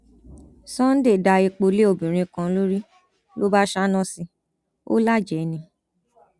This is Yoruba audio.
sunday da epo lé obìnrin kan lórí ló bá ṣáná sí i ò lájẹẹ ni